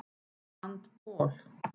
Rand Paul